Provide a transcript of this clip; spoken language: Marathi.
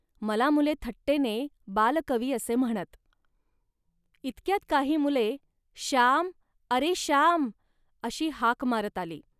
मला मुले थट्टेने बालकवी असे म्हणत. इतक्यात काही मुले "श्याम, अरे श्याम" अशी हाक मारत आली